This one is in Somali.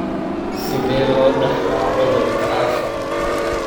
Sidee loo dhaxlaa cudurka Usher?